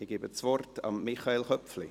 Ich gebe das Wort Michael Köpfli.